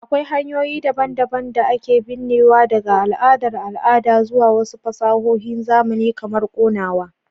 Akwai hanyoyi daban-daban da ake binnewa, daga al'adar al'ada zuwa wasu fasahohin zamani kamar konawa.